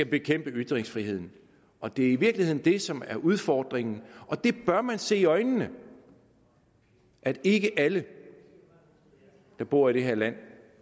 bekæmpe ytringsfriheden og det er i virkeligheden det som er udfordringen og det bør man se i øjnene at ikke alle der bor i det her land